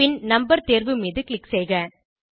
பின் number தேர்வு மீது click செய்க